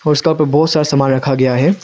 पे बहोत सारा सामान रखा गया है।